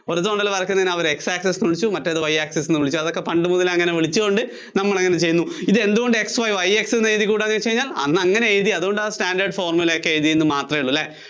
horizontal ആയി വരയ്ക്കുന്നേന് അവര് x access എന്ന് വിളിച്ചു. മറ്റേതിനെ Y access എന്ന് വിളിച്ചു. അതൊക്കെ പണ്ടുമുതലെ അങ്ങനെ വിളിച്ചതുകൊണ്ട് നമ്മള്‍ അങ്ങിനെ ചെയ്യുന്നു. ഇതെന്തുകൊണ്ട് X YY X എന്ന് എഴുതിക്കൂടാ എന്ന് ചോദിച്ചു കഴിഞ്ഞാല്‍, അന്നങ്ങിനെ എഴുതി അതുകൊണ്ട് ആ standard formula ഒക്കെ എഴുതി എന്ന് മാത്രം അല്ലേ